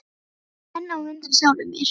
Ég er enn á undan sjálfum mér.